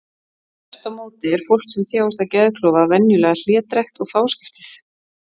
Þvert á móti er fólk sem þjáist af geðklofa venjulega hlédrægt og fáskiptið.